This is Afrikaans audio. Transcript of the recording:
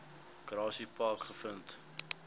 grassy park gevind